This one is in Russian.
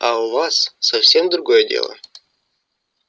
а у вас совсем другое дело